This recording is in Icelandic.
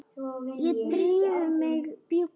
Ég ríf í mig bjúgun.